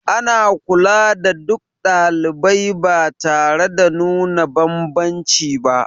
Ana kula da duk ɗalibai ba tare da nuna banbanci ba